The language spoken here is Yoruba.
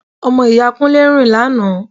Ọmọ ìyá Kúnlé rìn lánàá